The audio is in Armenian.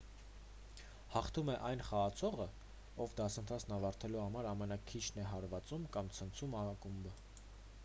հաղթում է այն խաղացողը ով դասընթացն ավարտելու համար ամենաքիչն է հարվածում կամ ցնցում ակումբը